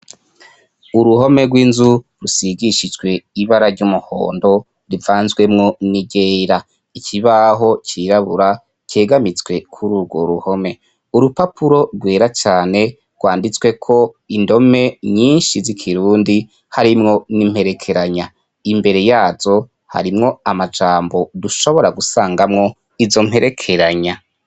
Uruhome rw’inzu rusigishijwe ibara ry’umuhondo rivanzwemo niryera, ikibaho cirabura cegamitswe kuri urwo ruhome. Urupapuro rwera cane rwanditsweko indome nyinshi z’ikirundi harimwo nimperekeranya, imbere yazo harimwo amajambo dushobora gusangamwo izo mperekeranya.